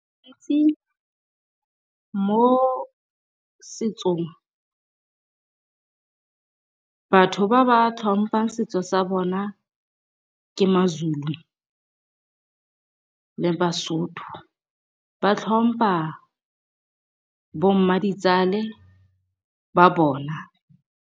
Mo setsong batho ba ba tlhompang setso sa bona ke Mazulu le Basotho. Ba tlhompa bo mmaditsale ba bona.